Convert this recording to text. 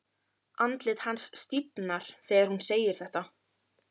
Andlit hans stífnar þegar hún segir þetta.